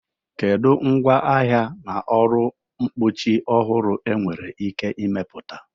Kedu ngwaahịa na ọrụ mkpuchi ọhụrụ enwere ike ịmepụta?